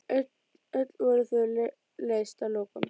Öll voru þau leyst að lokum.